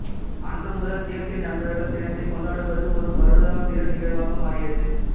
அன்று முதல் தேசிய நண்பர்கள் தினத்தைக் கொண்டாடுவது ஓர் வருடாந்திர நிகழ்வாக மாறியது